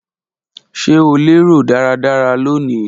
Ṣe o lero daradara loni?.